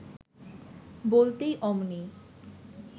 বলতেই অমনি